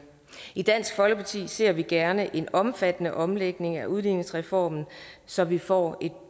i dansk folkeparti ser vi gerne en omfattende omlægning af udligningsreformen så vi får et